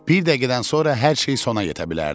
Bir dəqiqədən sonra hər şey sona yetə bilərdi.